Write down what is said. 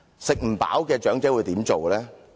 吃不飽的長者會怎樣做呢？